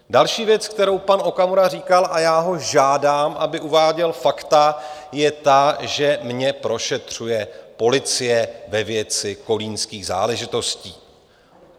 Další věc, kterou pan Okamura říkal - a já ho žádám, aby uváděl fakta - je ta, že mě prošetřuje policie ve věci kolínských záležitostí.